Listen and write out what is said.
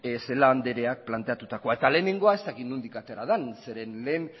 celaá andreak planteatua eta lehenengoa ez dakit nondik atera den zeren lehen